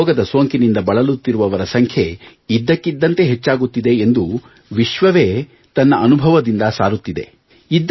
ಈ ರೋಗದ ಸೋಂಕಿನಿಂದ ಬಳಲುತ್ತಿರುವವರ ಸಂಖ್ಯೆ ಇದ್ದಕ್ಕಿದ್ದಂತೆ ಹೆಚ್ಚಾಗುತ್ತಿದೆ ಎಂದು ವಿಶ್ವವೇ ತನ್ನ ಅನುಭವದಿಂದ ಸಾರುತ್ತಿದೆ